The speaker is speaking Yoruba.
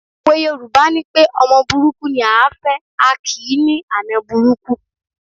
Òwe Yorùbá nipé ọmọ burúkú ni à á fẹ̀, a kì í ní àna burúkú